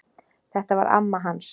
Þetta var amma hans